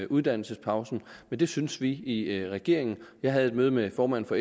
uddannelsespausen men det synes vi i regeringen jeg havde et møde med formanden